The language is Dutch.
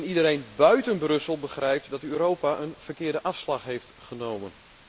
Iedereen buiten Brussel begrijpt dat Europa een verkeerde afslag heeft genomen.